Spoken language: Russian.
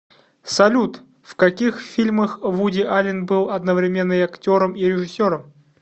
салют в каких фильмах вуди аллен был одновременно и актером и режиссером